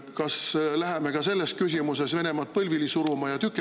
Kas läheme ka selles küsimuses Venemaad põlvili suruma ja tükeldama …